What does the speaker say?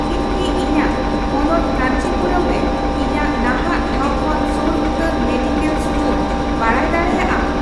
ᱤᱧ ᱠᱤ ᱤᱧᱟᱜ ᱦᱚᱱᱚᱛ ᱠᱟᱹᱧᱪᱤᱯᱩᱨᱟᱹᱢ ᱨᱮ ᱤᱧᱟᱜ ᱱᱟᱦᱟᱜ ᱴᱷᱟᱶ ᱠᱷᱚᱱ ᱥᱳᱨ ᱩᱛᱟᱹᱨ ᱢᱮᱰᱤᱠᱮᱞ ᱤᱥᱴᱳᱨ ᱵᱟᱲᱟᱭ ᱫᱟᱲᱮᱭᱟᱜᱼᱟ ᱾